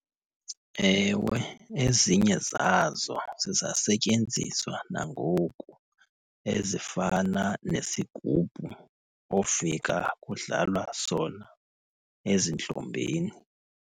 Ewe, ezinye zazo zisasetyenziswa nangoku. Ezifana nesigubhu ofika kudlalwa sona ezintlombeni.